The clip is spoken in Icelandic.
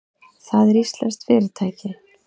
Það er íslenskt fyrirtæki.